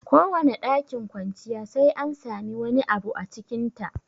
Kowane ɗakin kwanciya sai an samu wani abu a cikin ta